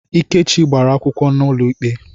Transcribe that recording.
Ikechi gbara akwụkwọ n'ụlọikpe.